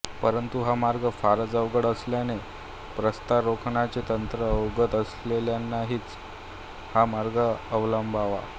परंतु हा मार्ग फारच अवघड असल्याने प्रस्तरारोहणाचे तंत्र अवगत असलेल्यांनीच हा मार्ग अवलंबावा